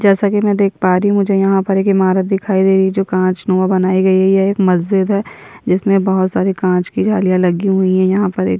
जैसा कि मैं देख पा रही हूँ मुझे यहाँ पर एक इमारत दिखाई दे रही है जो काँच नुवा बनाई गई है ये एक मस्जिद है जिसमें बहुत सारी काँच की जालियाँ लगी हुई हैं यहाँ पर एक --